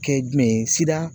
Kɛ jumɛn ye sida